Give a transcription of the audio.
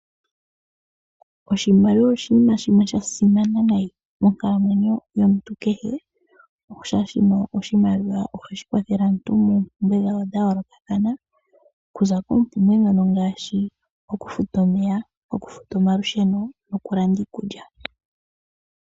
Oshimaliwa osho oshinima sha simana unene monkalamwenyo yomuntu kehe. Oshoka oshimaliwa ohashi kwathele aantu moompumbwe dhawo dha yoolokathana okuza koompumbwe ngaashi okufuta omeya, okufuta omalusheno noku landa iikulya.